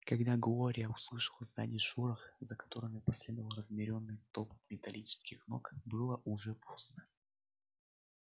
когда глория услышала сзади шорох за которым последовал размеренный топот металлических ног было уже поздно